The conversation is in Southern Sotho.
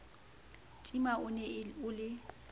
tima o ne o le